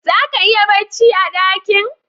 Zaka iya bacci a dakin